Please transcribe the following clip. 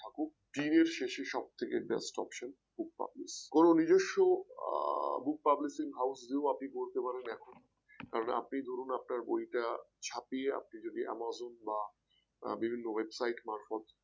দিনের শেষে সব থেকে best option Group publishing কোন নিজস্ব আহ Group publishing house গুলো করতে পারে এখন আপনি ধরুন আপনার বইটা ছাপিয়ে আপনি যদি amazon বা বিভিন্ন website মারফত